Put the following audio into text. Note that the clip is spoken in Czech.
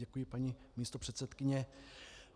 Děkuji, paní místopředsedkyně.